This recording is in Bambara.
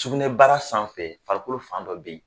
Sugunɛ bara sanfɛ farikolo fan dɔ be yen